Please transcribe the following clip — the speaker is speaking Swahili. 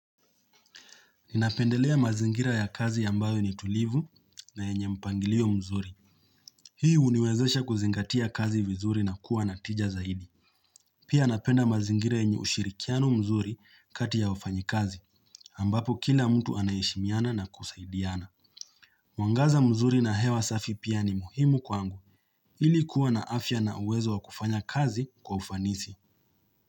Ninapendelea mazingira ya kazi ambayo ni tulivu na yenye mpangilio mzuri. Hii uniwezesha kuzingatia kazi vizuri na kuwa natija zaidi. Pia napenda mazingira yenye ushirikiano mzuri kati ya wafanyi kazi, ambapo kila mtu anaheshimiana na kusaidiana. Mwangaza mzuri na hewa safi pia ni muhimu kwa angu, ilikuwa na afya na uwezo wa kufanya kazi kwa ufanisi.